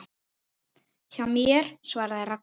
Hjá mér? svaraði Ragna.